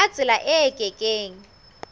ka tsela e ke keng